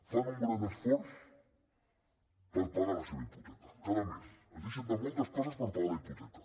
fan un gran esforç per pagar la seva hipoteca cada mes s’estan de moltes coses per pagar la hipoteca